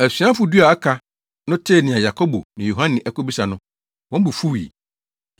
Asuafo du a aka no tee nea Yakobo ne Yohane akobisa no, wɔn bo fuwii.